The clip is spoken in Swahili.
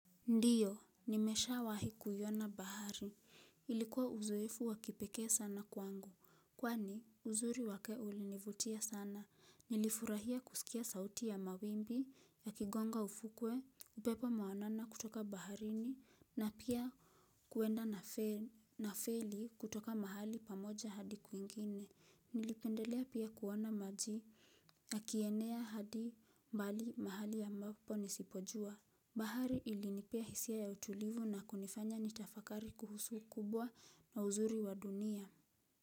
Ndio, nimeshawahi kuiona bahari. Ilikuwa uzoefu wa kipekee sana kwangu. Kwani uzuri wake ulinivutia sana. Nilifurahia kusikia sauti ya mawimbi yakigonga ufukwe, upepo mawanana kutoka baharini, na pia kuenda na feli kutoka mahali pamoja hadi kwingine. Nilipendelea pia kuona maji, yakienea hadi mbali mahali ambapo nisipojua. Bahari ili nipea hisia ya utulivu na kunifanya ni tafakari kuhusu ukubwa na uzuri wa dunia.